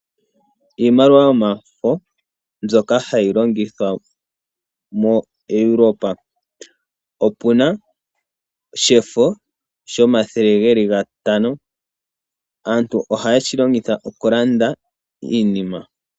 Iimaliwa yomafo mbyoka hayi longithwa moEuropa. Opuna shefo shomathele geli gatano aantu ohaye shi longitha okulanda iinima.